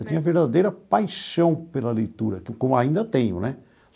Eu tinha verdadeira paixão pela leitura, como ainda tenho né.